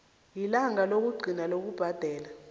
ilanga lokugcina lokubhadela